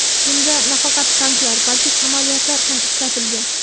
Bunda nafaqat tanklar, balki samolyotlar ham ishlatilgan.